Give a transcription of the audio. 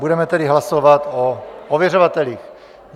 Budeme tedy hlasovat o ověřovatelích.